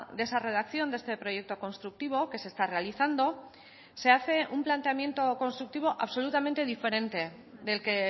de esa redacción de este proyecto constructivo que se está realizando se hace un planteamiento constructivo absolutamente diferente del que